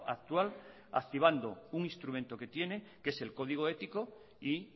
actual activando un instrumento que tiene que es el código ético y